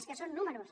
és que són números